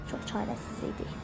Çox çarəsiz idik.